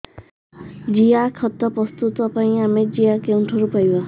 ଜିଆଖତ ପ୍ରସ୍ତୁତ ପାଇଁ ଆମେ ଜିଆ କେଉଁଠାରୁ ପାଈବା